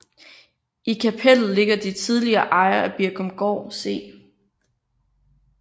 I kapellet ligger de tidligere ejere af Birkumgård C